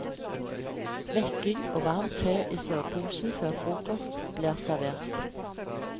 Vekking og varm te i soveposen før frokosten blir servert.